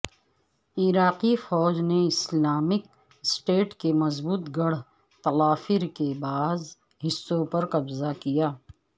عراقی فوج نے اسلامک اسٹیٹ کے مضبوط گڑھ تلعفر کے بعض حصوں پرقبضہ کیا